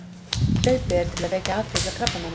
hlaupið til að vekja athygli á krabbameinum